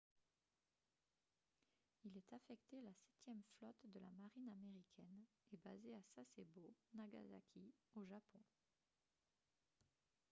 il est affecté à la septième flotte de la marine américaine et basé à sasebo nagasaki au japon